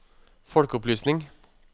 folkeopplysning